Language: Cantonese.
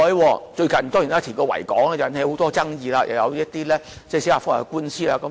當然，最近就維多利亞港的填海工程，引起很多爭議，又有一些司法覆核的官司。